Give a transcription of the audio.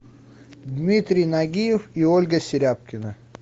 дмитрий нагиев и ольга серябкина